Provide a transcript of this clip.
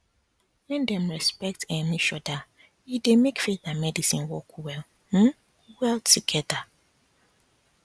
when dem respect um each other e dey make faith and medicine work well um well together